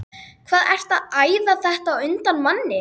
HVAÐ ERTU AÐ ÆÐA ÞETTA Á UNDAN MANNI!